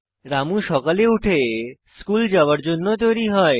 রামু সকালে উঠে স্কুল যাওযার জন্য তৈরী হয়